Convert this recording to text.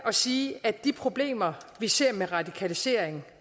at sige at de problemer med radikalisering